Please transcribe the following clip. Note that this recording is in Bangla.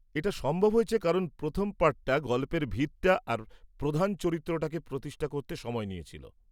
এটা সম্ভব হয়েছে কারণ প্রথম পার্টটা গল্পের ভিতটা আর প্রধান চরিত্রটাকে প্রতিষ্ঠা করতে সময় নিয়েছিল।